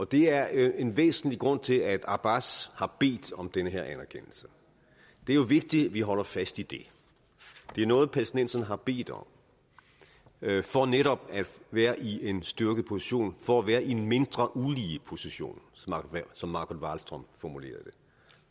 det er en væsentlig grund til at abbas har bedt om den her anerkendelse det er vigtigt at vi holder fast i det det er noget palæstinenserne har bedt om for netop at være i en styrkeposition for at være i en mindre ulige position som margot wallström formulerede